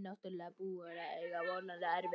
náttúrlega búinn að eiga voðalega erfitt.